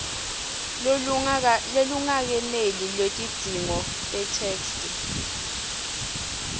lolungakeneli lwetidzingo tetheksthi